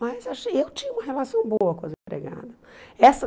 Mas achei eu tinha uma relação boa com as empregadas. Essa